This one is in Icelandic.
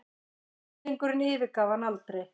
Hryllingurinn yfirgaf hana aldrei.